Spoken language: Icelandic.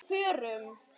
Á FÖRUM?